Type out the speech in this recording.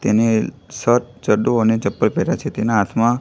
તેને શર્ટ ચડ્ડો અને ચપ્પલ પહેર્યા છે તેના હાથમાં--